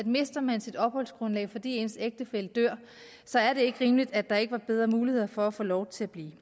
mister man sit opholdsgrundlag fordi ens ægtefælle dør så er det ikke rimeligt at der ikke er bedre muligheder for at få lov til at blive